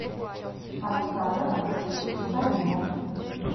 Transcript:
александр алексеевич каюмов